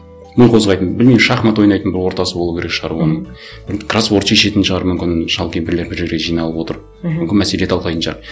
ми қозғайтын білмеймін шахмат ойнайтын бір ортасы болу керек шығар оның енді кроссворд шешетін шығар мүмкін шал кемпірлер бір жерге жиналып отырып мхм мүмкін мәселе талқылайтын шығар